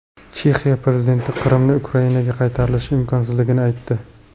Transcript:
Chexiya prezidenti Qrimning Ukrainaga qaytarilishi imkonsizligini aytdi.